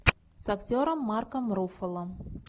с актером марком руффало